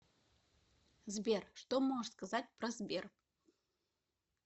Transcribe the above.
сбер что можешь сказать про сбер